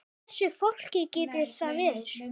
Hversu flókið getur það verið?